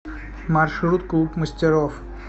маршрут клуб мастеров